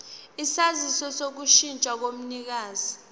isaziso sokushintsha komnikazi